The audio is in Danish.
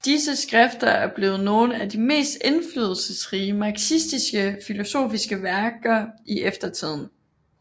Disse skrifter er blevet nogle af de mest indflydelsesrige marxistisk filosofiske værker i eftertiden